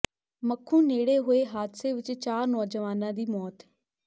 ਮੱਖੂ ਨੇੜੇ ਹੋਏ ਹਾਦਸੇ ਵਿੱਚ ਚਾਰ ਨੌਜਵਾਨਾਂ ਦੀ ਮੌਤ